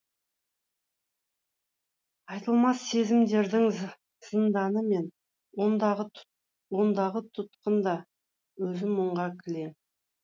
айтылмас сезімдердің зынданы мен ондағы тұтқын да өзім мұңға кілең